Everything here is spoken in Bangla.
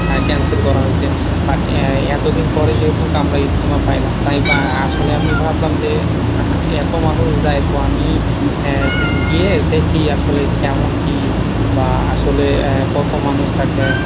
cancel করা হইছে but এতদিন পরে যেহেতু আমরা ইজতেমা পাইলাম তাই বা আসলে আমি ভাবলাম যে এতো মানুষ যায় তো আমি গিয়ে দেখি আসলে কেমন কি বা আসলে কত মানুষ থাকে